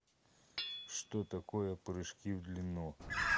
что такое прыжки в длину